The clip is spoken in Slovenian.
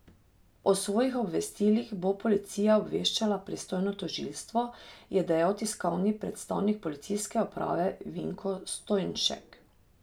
O svojih obvestilih bo policija obveščala pristojno tožilstvo, je dejal tiskovni predstavnik policijske uprave Vinko Stojnšek.